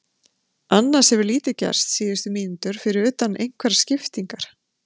Annars hefur lítið gerst síðustu mínútur fyrir utan einhverjar skiptingar.